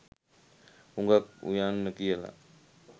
හුඟක් උයන්න කියල.